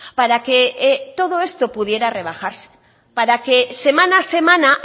para que todo esto pudiera rebajarse para que semana a semana